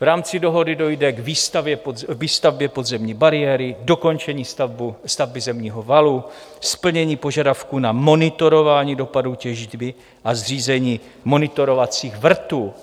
V rámci dohody dojde k výstavbě podzemní bariéry, dokončení stavby zemního valu, splnění požadavků na monitorování dopadů těžby a zřízení monitorovacích vrtů.